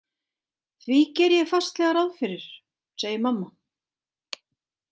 Því geri ég fastlega ráð fyrir, segir mamma.